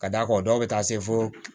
Ka d'a kan dɔw bɛ taa se fo